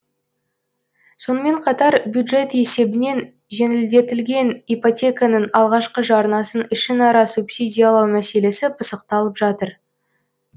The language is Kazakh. сонымен қатар бюджет есебінен жеңілдетілген ипотеканың алғашқы жарнасын ішінара субсидиялау мәселесі пысықталып жатыр